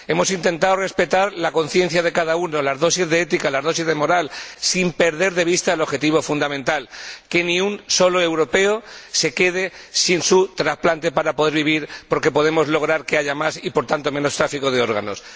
Hemos intentado respetar la conciencia de cada uno, las dosis de ética, las dosis de moral, sin perder de vista el objetivo fundamental que ni un solo europeo se quede sin su trasplante para poder vivir, porque podemos lograr que haya más y, por tanto, menos tráfico de órganos.